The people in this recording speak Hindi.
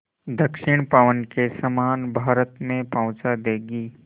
दक्षिण पवन के समान भारत में पहुँचा देंगी